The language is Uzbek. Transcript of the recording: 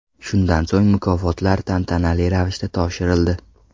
Shundan so‘ng mukofotlar tantanali ravishda topshirildi.